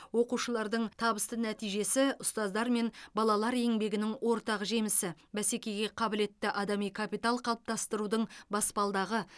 оқушылардың табысты нәтижесі ұстаздар мен балалар еңбегінің ортақ жемісі бәсекеге қабілетті адами капитал қалыптастырудың баспалдағы